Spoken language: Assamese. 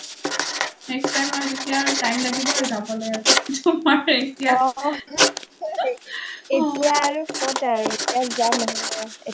next time আৰু time লাগিব আৰু যাবলে তোমাৰ এতিয়া